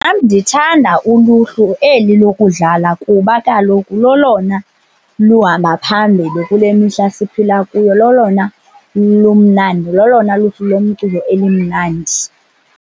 Nam, ndithanda uluhlu eli lokudlala kuba kaloku lolona luhamba phambili kule mihla siphila kuyo, lolona lumnandi lolona luhlu lomculo elimnandi.